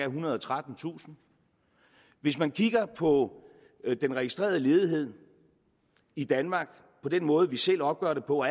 ethundrede og trettentusind hvis man kigger på den registrerede ledighed i danmark på den måde vi selv opgør det på